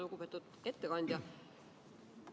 Lugupeetud ettekandja!